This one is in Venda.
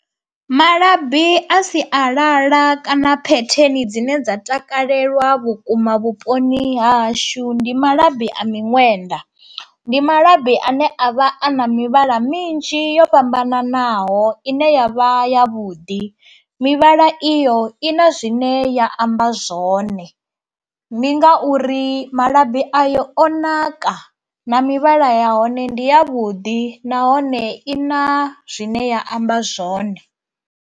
Malabi a sialala kana phetheni dzine dza takalelwa vhukuma vhuponi hahashu ndi malabi a miṅwenda, ndi malabi ane a vha a na mivhala minzhi yo fhambananaho ine yavha ya vhuḓi, mivhala iyo i na zwine ya amba zwone ndi ngauri malabi a yo o naka na mivhala ya hone ndi ya vhuḓi nahone i na zwine ya amba zwone.